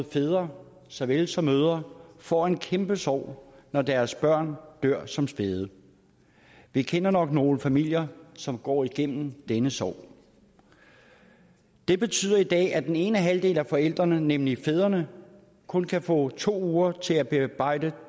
fædre så vel som mødre får en kæmpe sorg når deres børn dør som spæde vi kender nok nogle familier som går igennem denne sorg det betyder i dag at den ene halvdel af forældrene nemlig fædrene kun kan få to uger til at bearbejde